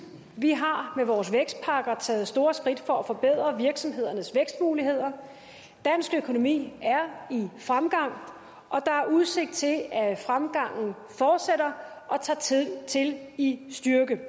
vi har med vores vækstpakker taget store skridt for at forbedre virksomhedernes vækstmuligheder dansk økonomi er i fremgang og der er udsigt til at fremgangen fortsætter og tager til i styrke vi